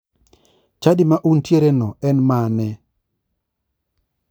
Chadi ma untiereno en mane?